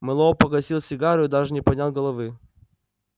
мэллоу погасил сигару и даже не поднял головы